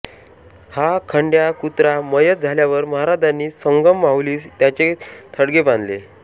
हा खंड्या कुत्रा मयत झाल्यावर महाराजांनी संगम माहुलीस त्याचे थडगे बांधले